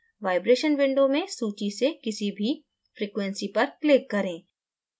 vibration window में सूची से किसी भी frequency आवृत्ति पर click करें